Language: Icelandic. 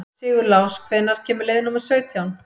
Sigurlás, hvenær kemur leið númer sautján?